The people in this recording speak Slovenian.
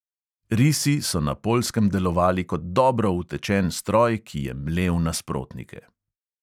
Risi so na poljskem delovali kot dobro utečen stroj, ki je mlel nasprotnike.